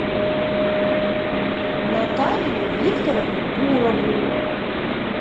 наталию викторовну гурову